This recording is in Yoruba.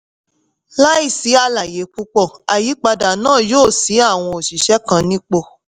láì sí àlàyé púpọ̀ àyípadà náà yóò sí àwọn òṣìṣẹ́ kan nípò.